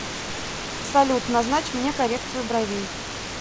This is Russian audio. салют назначь мне коррекцию бровей